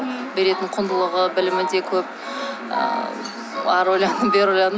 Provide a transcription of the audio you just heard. беретін құндылығы білімі де көп і әрі ойладым бері ойладым